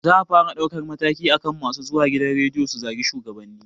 Za a fara ɗaukar mataki akan masu zuwa gidan rediyo su zagi shugabanni